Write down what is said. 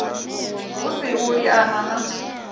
hu si u liana na